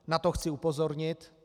Na to chci upozornit.